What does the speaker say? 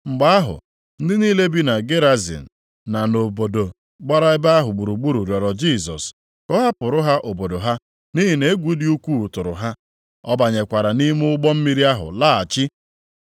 Mgbe ahụ, ndị niile bi na Gerazin na nʼobodo gbara ebe ahụ gburugburu rịọrọ Jisọs ka ọ hapụrụ ha obodo ha, nʼihi na egwu dị ukwuu tụrụ ha. Ọ banyekwara nʼime ụgbọ mmiri ahụ laghachi.